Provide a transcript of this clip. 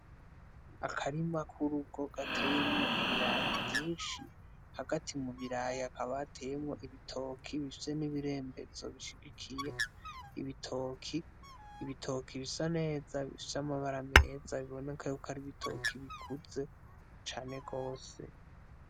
Akarima k'urugo gateyemwo ibiraya vyinshi, hagati mu biraya hakaba hateyemwo ibitoki bifise n'ibirembezo bishigikiye ibitoki, ibitoki bisa neza, bifise amabara meza biboneka ko ari ibitoki bikuze cane gose.